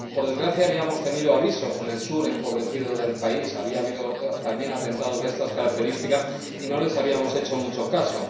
Por desgracia habíamos tenido avisos en el sur empobrecido del país, había habido también atentados de estas características y no les habíamos hecho mucho caso.